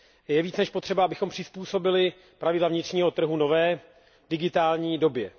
Je více než potřeba, abychom přizpůsobili pravidla vnitřního trhu nové, digitální době.